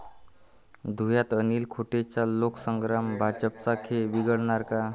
धुळ्यात अनिल गोटेंचा लोकसंग्राम भाजपचा खेळ बिघडवणार का?